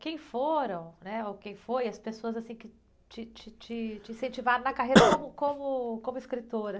Quem foram, né? Ou quem foi, as pessoas, assim, que te, te, te, te incentivaram na carreira...tosse)omo, como, como escritor?